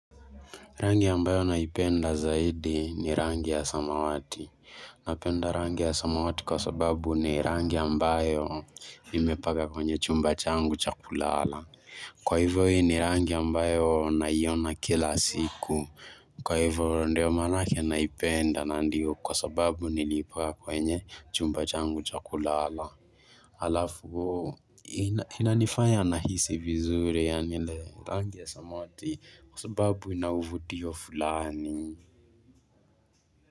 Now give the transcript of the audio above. Rangi ambayo naipenda zaidi ni rangi ya samawati. Napenda rangi ya samawati kwa sababu ni rangi ambayo nimepanga kwenye chumba changu cha kulala. Kwa hivyo ni rangi ambayo naiona kila siku. Kwa hivyo ndio maanake naipenda na ndiyo kwa sababu nilipaka kwenye chumba changu cha kulala. Alafu ina inanifanya nahisi vizuri yaani ile rangi ya samawati kwa sababu ina uvutio fulani.